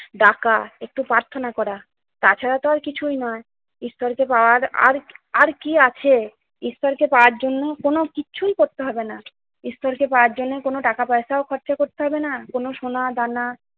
ডাকা, একটু প্রার্থনা করা, তাছাড়া তো আর কিছুই নাই। ঈশ্বরকে পাওয়ার আর কি~ আর কি আছে? ঈশ্বরকে পাওয়ার জন্য কোন কিছুই করতে হবে না। ঈশ্বরকে পাওয়ার জন্য কোন টাকা পয়সাও খরচা করতে হবে না, কোন সোনা-দানা